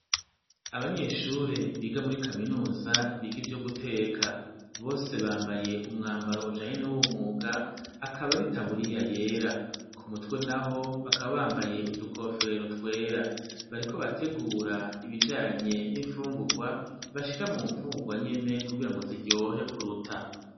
abanyeshure biga muri kaminuza biga ivyo guteka bose bambaye umwambaro ujanye n'uwo mwuga akaba aritaburiya yera ku mutwe naho bakaba bambaye udukofero twera bariko bategura ibijanye n'imfungugwa bashira mu mfungugwa nyene kugira ngo ziryohe kuruta